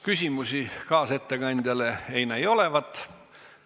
Küsimusi kaasettekandjale ei näi olevat.